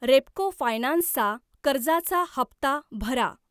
Repco finance चा कर्जाचा हप्ता भरा.